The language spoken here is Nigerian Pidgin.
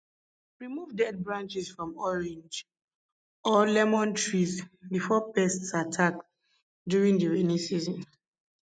remove dead branches from orange or lemon trees before pests attack during the rainy season